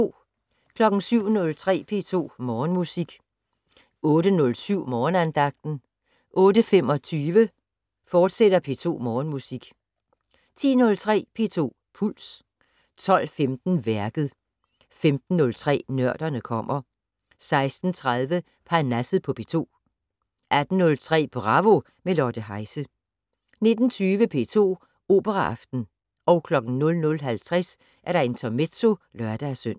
07:03: P2 Morgenmusik 08:07: Morgenandagten 08:25: P2 Morgenmusik, fortsat 10:03: P2 Puls 12:15: Værket 15:03: Nørderne kommer 16:30: Parnasset på P2 18:03: Bravo - med Lotte Heise 19:20: P2 Operaaften 00:50: Intermezzo (lør-søn)